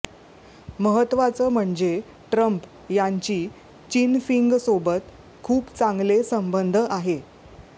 महत्वाचं म्हणजे ट्रम्प यांची चिनफिंगसोबत खूप चांगले संबंध आहे